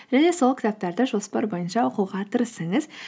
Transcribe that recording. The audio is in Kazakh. және сол кітаптарды жоспар бойынша оқуға тырысыңыз